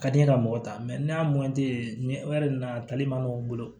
Ka di n ye ka mɔgɔ ta n'a man nɔgɔ u bolo